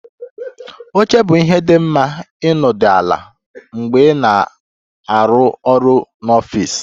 Oche bụ ihe dị mma ịnọdụ ala mgbe ị na-arụ ọrụ n'ọfịs